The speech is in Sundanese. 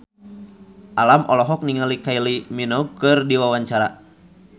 Alam olohok ningali Kylie Minogue keur diwawancara